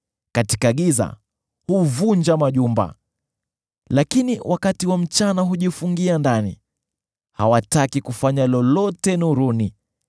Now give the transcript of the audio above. Katika giza, huvunja majumba, lakini wakati wa mchana hujifungia ndani; hawataki kufanya lolote nuruni.